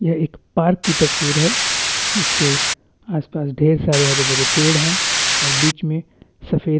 एक पार्क की तस्वीर है जिसके आसपास ढ़ेर सारे हरे-भरे पेड़ है और बिच में सफ़ेद--